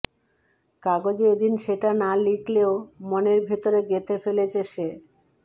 কাগজে এদিন সেটা না লিখলেও মনের ভিতরে গেঁথে ফেলেছে সে